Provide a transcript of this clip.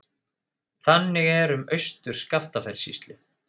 Þannig er um Austur-Skaftafellssýslu.